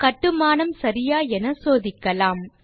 கட்டுமானம் சரியா என சோதிக்கலாம்